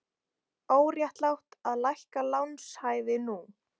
Óréttlátt að lækka lánshæfi nú